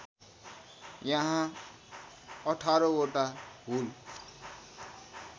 यहाँ १८ वटा होल